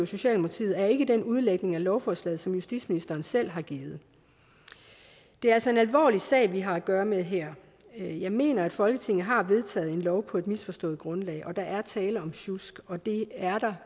socialdemokratiet er ikke den udlægning af lovforslaget som justitsministeren selv har givet det er altså en alvorlig sag vi har at gøre med her jeg jeg mener at folketinget har vedtaget en lov på et misforstået grundlag og at der er tale om sjusk og det er